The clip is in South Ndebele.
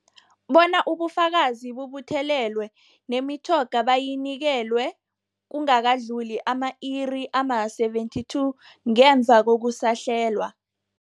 Bona ubufakazi bubuthelelwe, nemitjhoga bayinikelwe kungakadluli ama-iri ama-72 ngemva kokusahlelwa.